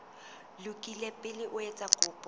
lokile pele o etsa kopo